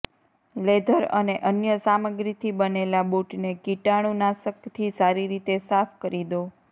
leather અને અન્ય સામગ્રીથી બનેલા બૂટને કીટાણુ નાશકથી સારી રીતે સાફ કરી દો